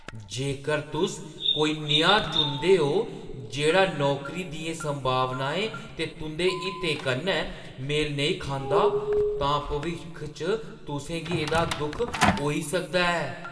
जेकर तुस कोई नेहा चुनदे ओ जेह्ड़ा नौकरी दियें संभावनाएं ते तुंʼदे हितें कन्नै मेल नेईं खंदा, तां भविक्ख च तुसें गी एह्‌दा दुख होई सकदा ऐ।